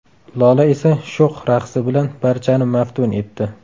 Lola esa sho‘x raqsi bilan barchani maftun etdi.